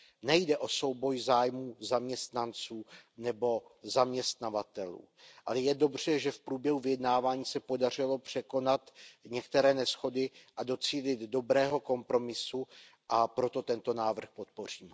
Nejde o souboj zájmů zaměstnanců nebo zaměstnavatelů, ale je dobře, že v průběhu vyjednávání se podařilo překonat některé neshody a docílit dobrého kompromisu, a proto tento návrh podpořím.